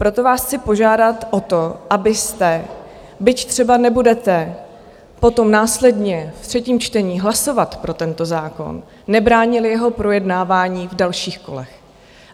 Proto vás chci požádat o to, abyste, byť třeba nebudete potom následně v třetím čtení hlasovat pro tento zákon, nebránili jeho projednávání v dalších kolech.